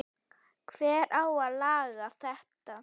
Hver á að laga þetta?